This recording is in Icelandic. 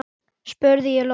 spurði ég loks.